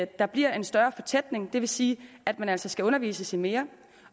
der bliver en større fortætning det vil sige at man altså skal undervises i mere